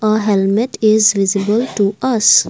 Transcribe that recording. a helmet is visible to us.